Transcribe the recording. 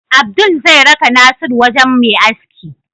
Abdul zai raka nasiru wajan Me aski